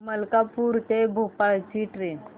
मलकापूर ते भोपाळ ची ट्रेन